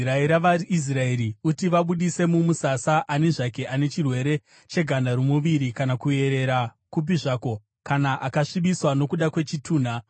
“Rayira vaIsraeri kuti vabudise mumusasa ani zvake ane chirwere cheganda romuviri kana kuerera kupi zvako, kana akasvibiswa nokuda kwechitunha.